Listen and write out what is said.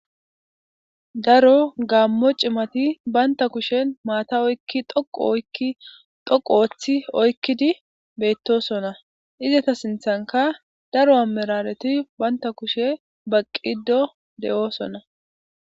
Daro gaammo cimati baynta kushen maata oykki dhoqu oykki dhoqu ooththi oykkidi beettosona izata sinthanka daro amirareti baynta kushe baqqido de'oosona